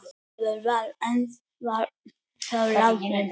Ólafur var þá látinn.